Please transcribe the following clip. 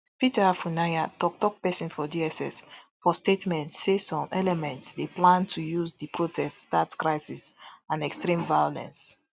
peter afunaya toktok pesin for dss for statement say some elements dey plan to use di protest start crisis and extreme violence